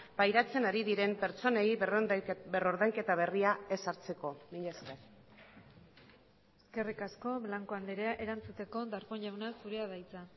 pairatzen ari diren pertsonei berrordainketa berria ezartzeko mila esker eskerrik asko blanco andrea erantzuteko darpón jauna zurea da hitza